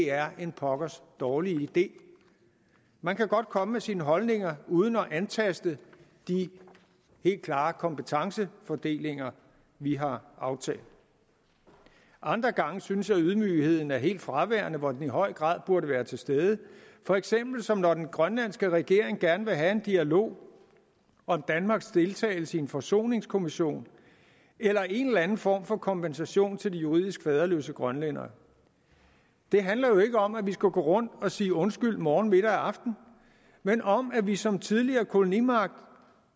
er en pokkers dårlig idé man kan godt komme med sine holdninger uden at antaste de helt klare kompetencefordelinger vi har aftalt andre gange synes jeg ydmygheden er helt fraværende hvor den i høj grad burde være til stede for eksempel som når den grønlandske regering gerne vil have en dialog om danmarks deltagelse i en forsoningskommission eller en eller anden form for kompensation til de juridisk faderløse grønlændere det handler jo ikke om at vi skal gå rundt og sige undskyld morgen middag og aften men om at vi som tidligere kolonimagt